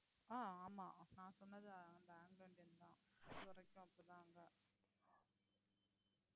ஆஹ் ஆமா நான் சொன்னது அந்த ஆங்கிலோஇந்தியன் தான்